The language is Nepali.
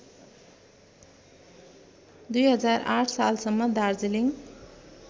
२००८ सालसम्म दार्जिलिङ